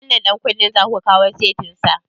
Wannan ɗan kunnen zaku kawo setin sa?